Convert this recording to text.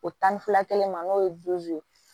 O tan ni fila kelen ma n'o ye ye